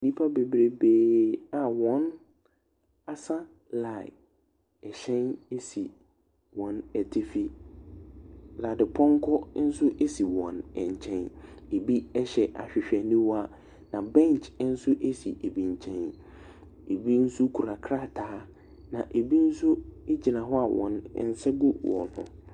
Nnipa bebrebee a wɔasa line. Hyɛn si wɔn atifi. Dadepɔnkɔ nso si wɔn nkyɛn. Ɛbi hyɛ ahwehwɛniwa, na bench nso si ɛbi nkyɛn. Ɛbi nso kura krataa, na ɛbi nso gyina hɔ a wɔn nsa gu wɔn ho.